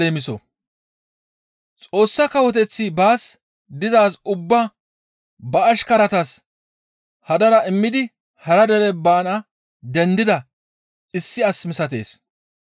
«Xoossa Kawoteththi baas dizaaz ubbaa ba ashkaratas hadara immidi hara dere baana dendida issi as misatees.